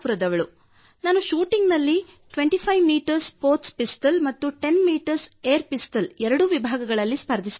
ನಾನು ಶೂಟಿಂಗ್ ನಲ್ಲಿ 25 M sports pistol ಮತ್ತು 10 ಎಂ ಪಿಸ್ಟಲ್ ಎರಡೂ ವಿಭಾಗಗಳಲ್ಲಿ ಸ್ಪರ್ಧಿಸುತ್ತೇನೆ